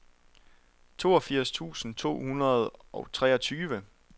toogfirs tusind to hundrede og treogtyve